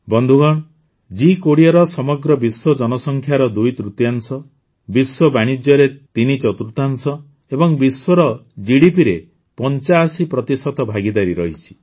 ବନ୍ଧୁଗଣ ଜି୨୦ରେ ସମଗ୍ର ବିଶ୍ୱ ଜନସଂଖ୍ୟାର ଦୁଇତୃତୀୟାଂଶ ବିଶ୍ୱ ବାଣିଜ୍ୟରେ ତିନିଚତୁର୍ଥାଂଶ ଏବଂ ବିଶ୍ୱର ଜିଡିପି ରେ ୮୫ ପ୍ରତିଶତ ଭାଗିଦାରୀ ରହିଛି